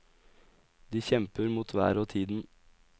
De kjemper mot været og tiden.